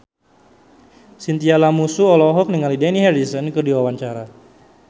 Chintya Lamusu olohok ningali Dani Harrison keur diwawancara